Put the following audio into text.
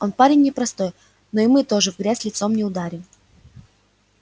он парень непростой но и мы тоже в грязь лицом не ударим